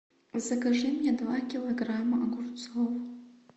закажи мне два килограмма огурцов